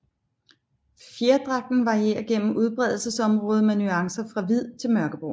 Fjerdragten varierer gennem udbredelsesområdet med nuancer fra hvid til mørkebrun